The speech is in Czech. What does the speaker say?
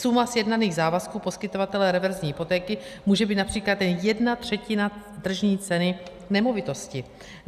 Suma sjednaných závazků poskytovatele reverzní hypotéky může být například jen jedna třetina tržní ceny nemovitosti.